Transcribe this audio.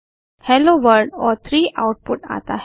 hello world और 3 output आता है